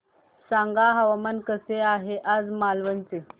सांगा हवामान कसे आहे आज मालवण चे